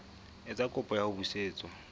etsa kopo ya ho busetswa